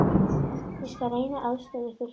Ég skal reyna að aðstoða ykkur.